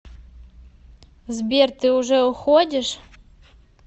сбер ты уже уходишь